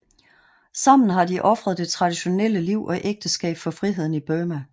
Sammen har de ofret det traditionelle liv og ægteskab for friheden i Burma